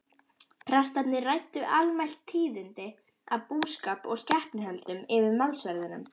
Prestarnir ræddu almælt tíðindi af búskap og skepnuhöldum yfir málsverðinum.